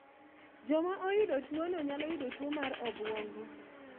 Joma oyudo tuono nylalo yudo tuo mar obuongo